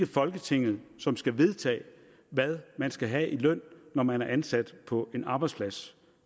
folketinget som skal vedtage hvad man skal have i løn når man er ansat på en arbejdsplads